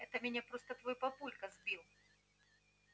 это меня просто твой папулька сбил